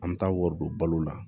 An bɛ taa wari don balo la